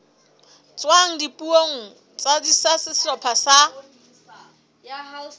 tswang dipuong tsa sehlopha sa